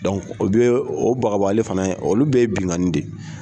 Dɔnku o bɛɛ o bagabagali fana ye olu bɛɛ ye binkani de ye.